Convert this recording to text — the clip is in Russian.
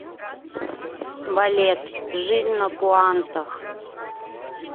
балет жизнь на пуантах